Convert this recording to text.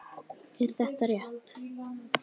Er þetta rétt?